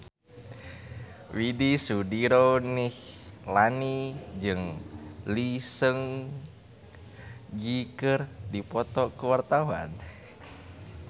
Widy Soediro Nichlany jeung Lee Seung Gi keur dipoto ku wartawan